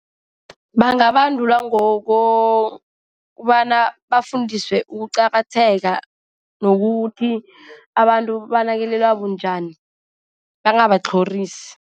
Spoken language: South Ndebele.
Bangabandulwa ngokobana bafundiswe ukuqakatheka nokuthi abantu banakelelwa bunjani, bangabatlhorisi.